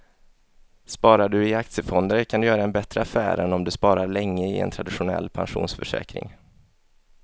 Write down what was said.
Sparar du i aktiefonder kan du göra en bättre affär än om du sparar länge i en traditionell pensionsförsäkring.